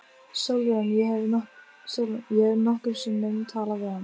SÓLRÚN: Ég hef nokkrum sinnum talað við hann.